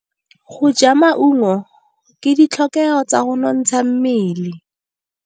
Go ja maungo ke ditlhokegô tsa go nontsha mmele.